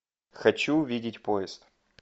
хочу увидеть поезд